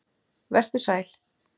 Vertu sæl!